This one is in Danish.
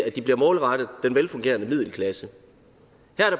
at de bliver målrettet den velfungerende middelklasse